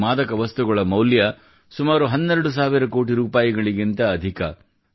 ಈ ಮಾದಕ ವಸ್ತುಗಳ ಮೌಲ್ಯ ಸುಮಾರು 12000 ಕೋಟಿ ರೂಪಾಯಿಗಿಂತ ಅಧಿಕ